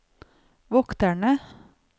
vokterne